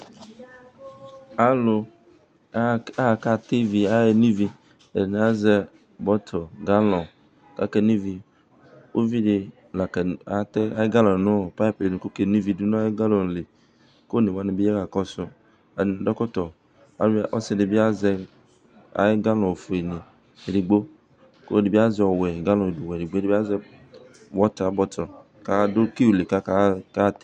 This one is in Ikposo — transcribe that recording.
alò aka tɛ ivi aye no ivi ɛdini azɛ bɔtil galɔn k'ake no ivi uvi di la ka atɛ ayi galɔn no paip yɛ nu k'oke no ivi du n'ayi galɔn li k'one wani bi ya ka kɔsu yi ɛdi adu ɛkɔtɔ ayɔ ɔsi di bi azɛ ayi galɔn fue ni edigbo k'ɔlò ɛdi bi azɛ ɔwɛ galɔn wɛ di k'ɛdi bi azɛ wɔta bɔtil k'adu kiu li k'aka.